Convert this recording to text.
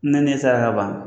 Ne ne saraka kaban.